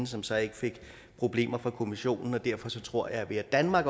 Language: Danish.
som så ikke fik problemer med kommissionen og derfor tror jeg at ved at danmark